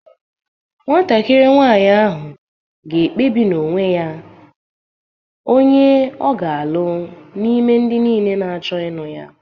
Nwatakịrị nwanyị ahụ ga-ekpebi n’onwe ya onye ọ ga-alụ n’ime ndị niile na-achọ ya